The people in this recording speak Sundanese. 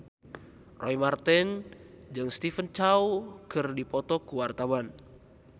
Roy Marten jeung Stephen Chow keur dipoto ku wartawan